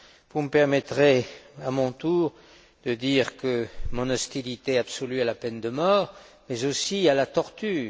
Vous me permettrez, à mon tour, de dire mon hostilité absolue à la peine de mort, mais aussi à la torture.